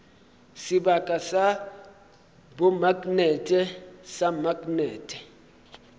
sebaka sa bomaknete sa maknete